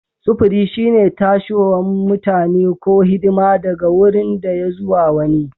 Sufuri shine tashiwan mutani ko hidima daga wurin daya zuwa wani.